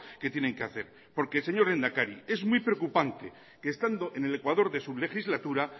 que tienen que hacer porque señor lehendakari es muy preocupante que estando en el ecuador de su legislatura